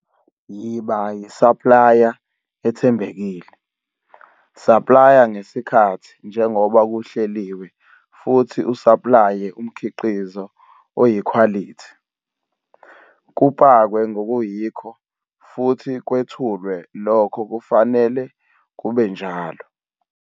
Yiba yisaplaya ethembekile, saplaya ngesikhathi njengoba kuhleliwe futhi usaplaye umkhiqizo oyikhwalithi, kupakwe ngokuyikho futhi kwethulwe lokho kufanele kube njalo.